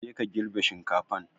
Je ka girbe shinkafan!